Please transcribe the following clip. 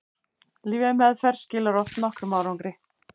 lyfjameðferð skilar oft nokkrum árangri